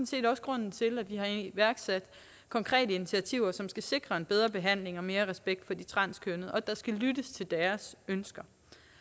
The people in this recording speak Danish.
set også grunden til at vi har iværksat konkrete initiativer som skal sikre en bedre behandling og mere respekt for de transkønnede og at der skal lyttes til deres ønsker